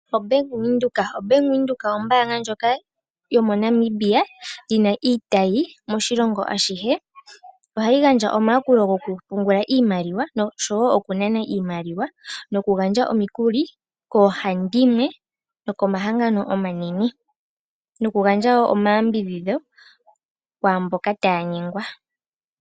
Bank Windhoek ombanga yomoNamibia, yina iitayi moshilongo ashihe, ohayi gandja omayakulo gokupungula iimaliwa nosho woo okunana iimaliwa noku gandje omikuli kohandimwe nokomahangano omanene, nokugandja woo omayambidhidho kwaamboka taanyegwa.